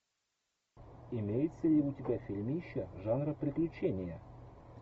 имеется ли у тебя фильмище жанра приключения